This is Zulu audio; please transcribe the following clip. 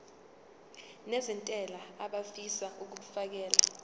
nezentela abafisa uukfakela